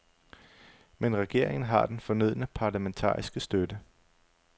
Men regeringen har den fornødne parlamentariske støtte.